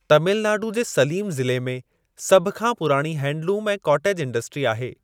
तमिलनाडु जे सलीम ज़िले में सभ खां पुराणी हैंडलूम ऐं कॉटेज इंडस्ट्री आहे।